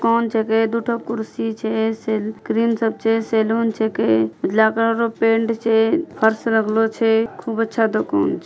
कौन जगह दोन कुर्सी छे सेलून छे के लकड़ो पेंट छे हर्ष रागलो छे खूब अच्छा दुकान छे ।